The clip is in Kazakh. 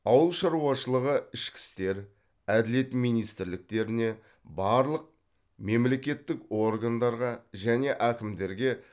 ауыл шаруашылығы ішкі істер әділет министрліктеріне барлық мемлекеттік органдарға және әкімдерге